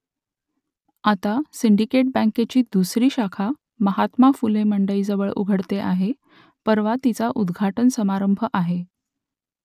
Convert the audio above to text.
आता सिंडिकेट बँकेची दुसरी शाखा महात्मा फुले मंडईजवळ उघडते आहे , परवा तिचा उद्घाटन समारंभ आहे